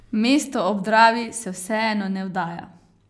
Mesto ob Dravi se vseeno ne vdaja.